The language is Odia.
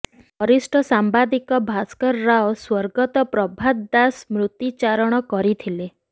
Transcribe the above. ବରିଷ୍ଠ ସାମ୍ବାଦିକ ଭାସ୍କର ରାଓ ସ୍ବର୍ଗତ ପ୍ରଭାତ ଦାସ ସ୍ମୃତି ଚାରଣ କରିଥିଲେ